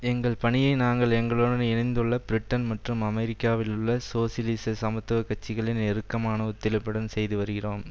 எங்கள் பணியை நாங்கள் எங்களுடன் இணைந்துள்ள பிரிட்டன் மற்றும் அமெரிக்காவில் உள்ள சோசியலிச சமத்துவ கட்சிகளின் நெருக்கமான ஒத்துழைப்புடன் செய்து வருகிறோம்